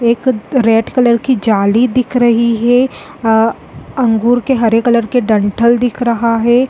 एक red colour की जाली दिख रही हैं अ अंगूर के हरे कलर के डंठल दिख रहा हैं।